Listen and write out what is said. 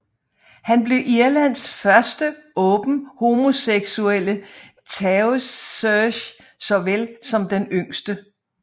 Han blev Irlands første åbent homoseksuelle Taoiseach såvel som den yngste